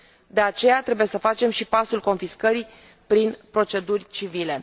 De aceea, trebuie să facem și pasul confiscării prin proceduri civile.